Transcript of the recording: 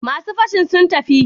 Masu fashin sun tafi?